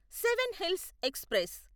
seven hills express